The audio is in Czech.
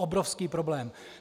Obrovský problém.